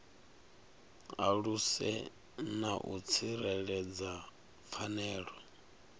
aluse na u tsireledza pfanelo